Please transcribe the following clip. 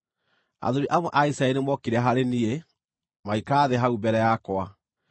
Athuuri amwe a Isiraeli nĩmookire harĩ niĩ, magĩikara thĩ hau mbere yakwa.